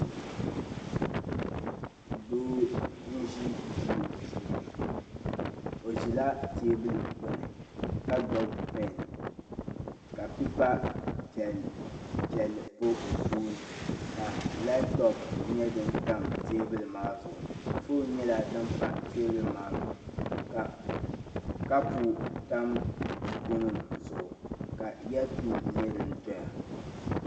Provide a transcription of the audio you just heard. Doo n ʒe duu puuni o ʒela tɛbuli gbuni ka gbubi pɛn ka pipa piɛlli pa o tooni ka laptop nyɛ din pa tɛbuli maa zuɣu phone nyɛla din pa tɛbuli maa zuɣu ka kapu tam buku nim zuɣu ka ɛapin nyɛ din doya